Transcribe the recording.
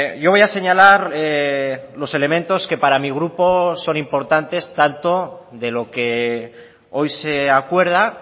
yo voy a señalar los elementos que para mi grupo son importantes tanto de lo que hoy se acuerda